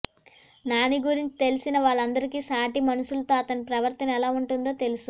నాని గురించి తెలిసిన వాళ్లందరికీ సాటి మనుషులతో అతని ప్రవర్తన ఎలా ఉంటుందో తెలుసు